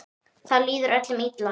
Það líður öllum illa.